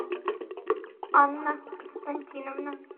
анна константиновна